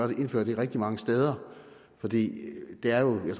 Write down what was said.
vil indføre det rigtig mange steder for det er jo